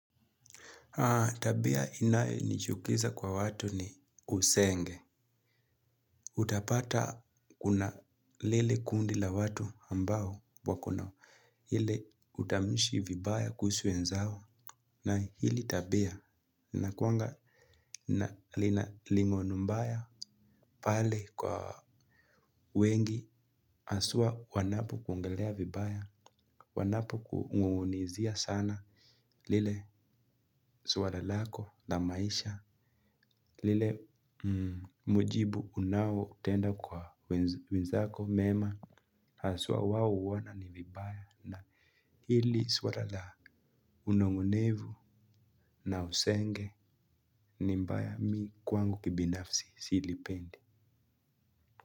Tabia inayonichukiza kwa watu ni usenge. Utapata kuna lile kundi la watu ambao wako na hile utamshi vibaya kuhusu wenzao na hili tabia. Linakuanga lina ling'oni mbaya pale kwa wengi haswa wanapokuongelea vibaya. Wanapokunung'unizia sana. Lile swala lako na maisha lile mujibu unaotenda kwa wenzako mema haswa wao huona ni vibaya na hili swala la unong'onevu na usenge ni mbaya mi kwangu kibinafsi silipendi.